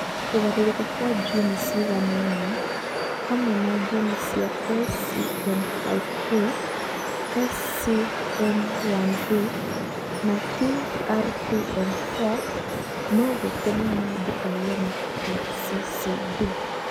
Kũgarũrũka kwa jini cigana ũna, hamwe na jini cia SCN5A, SCN1B na TRPM4, no gũtũme mũndũ agĩe na PCCD.